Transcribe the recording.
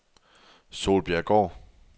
Solbjerggård